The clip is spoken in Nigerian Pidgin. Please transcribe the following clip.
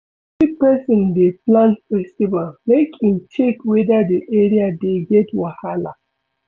If person dey plan festival make im check weda di area dey get wahala